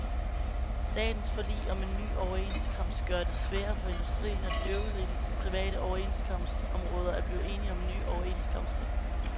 Statens forlig om en ny overenskomst gør det sværere for industrien og de øvrige private overenskomstområder at blive enige om nye overenskomster.